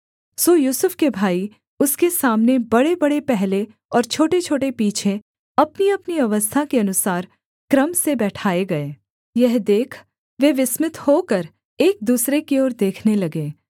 सो यूसुफ के भाई उसके सामने बड़ेबड़े पहले और छोटेछोटे पीछे अपनीअपनी अवस्था के अनुसार क्रम से बैठाए गए यह देख वे विस्मित होकर एक दूसरे की ओर देखने लगे